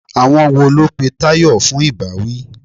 Àwọn wo ló pe Tayọ fún ìbáwí?